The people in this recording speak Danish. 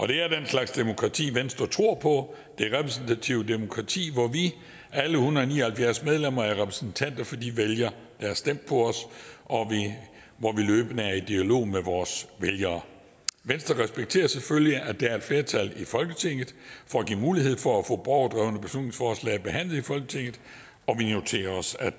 det er den slags demokrati venstre tror på altså det repræsentative demokrati hvor vi alle en hundrede og ni og halvfjerds medlemmer er repræsentanter for de vælgere der har stemt på os og hvor vi løbende er i dialog med vores vælgere venstre respekterer selvfølgelig at der er et flertal i folketinget for at give mulighed for at få borgerdrevne beslutningsforslag behandlet i folketinget og vi noterer os at